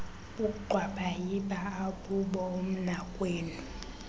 bugxwabayiba akubo umnakwenu